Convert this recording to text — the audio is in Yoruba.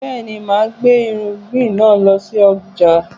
Bẹ́ẹ̀ni, máa gbé irúgbìn náà lọ sí ọjà